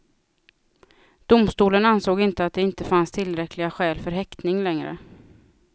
Domstolen ansåg inte att det inte fanns tillräckliga skäl för häktning längre.